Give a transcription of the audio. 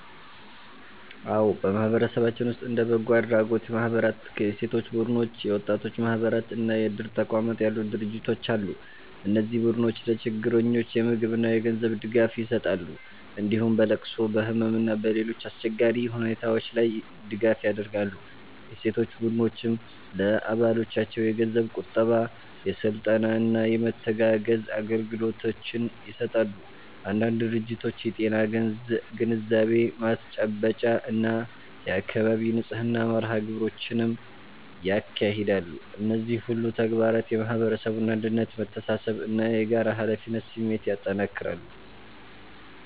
አዎ፣ በማህበረሰባችን ውስጥ እንደ በጎ አድራጎት ማህበራት፣ የሴቶች ቡድኖች፣ የወጣቶች ማህበራት እና የእድር ተቋማት ያሉ ድርጅቶች አሉ። እነዚህ ቡድኖች ለችግረኞች የምግብና የገንዘብ ድጋፍ ይሰጣሉ፣ እንዲሁም በለቅሶ፣ በህመም እና በሌሎች አስቸጋሪ ሁኔታዎች ላይ ድጋፍ ያደርጋሉ። የሴቶች ቡድኖችም ለአባሎቻቸው የገንዘብ ቁጠባ፣ የስልጠና እና የመተጋገዝ አገልግሎቶችን ይሰጣሉ። አንዳንድ ድርጅቶች የጤና ግንዛቤ ማስጨበጫ እና የአካባቢ ንጽህና መርሃ ግብሮችንም ያካሂዳሉ። እነዚህ ሁሉ ተግባራት የማህበረሰቡን አንድነት፣ መተሳሰብ እና የጋራ ኃላፊነት ስሜት ያጠናክራሉ።